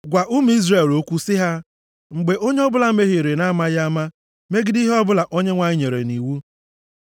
“Gwa ụmụ Izrel okwu, sị ha, ‘Mgbe onye ọbụla mehiere na-amaghị ama, megide ihe ọbụla Onyenwe anyị nyere nʼiwu: